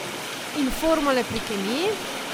In formule pri kemiji?